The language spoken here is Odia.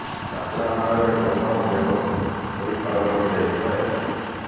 ଚାପୁଡ଼ା ମାଡ଼ରେ ଗୌତମ ବେହୋସ୍ ହୋଇ ତଳେ ପଡି ଯାଇଥିଲେ